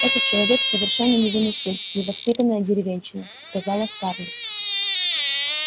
этот человек совершенно невыносим невоспитанная деревенщина сказала скарлетт